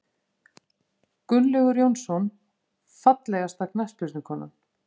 Gunnlaugur Jónsson Fallegasta knattspyrnukonan?